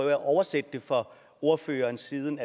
at oversætte det for ordføreren siden